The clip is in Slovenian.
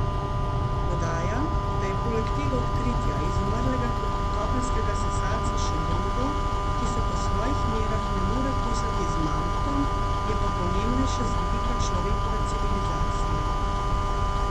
Dodaja, da je poleg tega odkritja izumrlega kopenskega sesalca še drugo, ki se po svojih merah ne more kosati z mamutom, je pa pomembnejše z vidika človekove civilizacije.